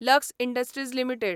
lux Industries limited